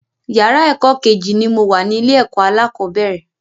Yàrá ẹ̀kọ́ Kejì ni mo wà ní ilé ẹ̀kọ́ alákọ̀bẹ́rẹ̀